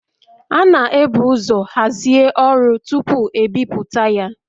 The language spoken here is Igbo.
A na-ebu ụzọ hazie ọrụ tupu e bipụta ya